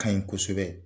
Ka ɲi kosɛbɛ